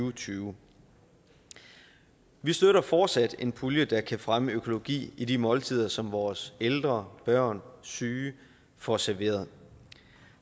og tyve vi støtter fortsat en pulje der kan fremme økologi i de måltider som vores ældre børn syge får serveret